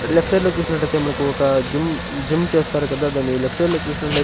left side లో చూసినట్లయితే మనకు ఒక జిమ్ జిమ్ చేస్తారు కదా దాన్ని లెఫ్ట్ సైడ్ లో చూసినట్లయి --